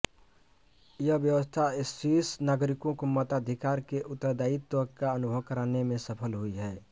यह व्यवस्था स्विस नागरिकों को मताधिकार के उत्तरदायित्व का अनुभव कराने में सफल हुई है